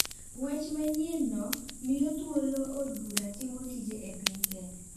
Wach manyienno miyo thuolo od bura timo tije e piny kenya.